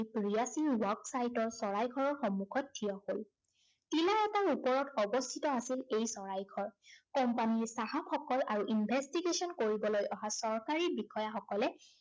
working workspace ৰ চৰাইঘৰৰ সন্মুখত ঠিয় হল। টিলা এটাৰ ওপৰত আছিল অৱস্থিত আছিল এই চৰাইঘৰ। company ৰ চাহাবসকল আৰু investigation কৰিবলৈ অহা চৰকাৰী বিষয়াসকলে